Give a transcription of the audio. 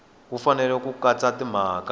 wu fanele ku katsa timhaka